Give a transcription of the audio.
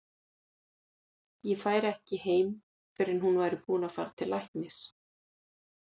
Ég færi ekki heim fyrr en hún væri búin að fara til læknis.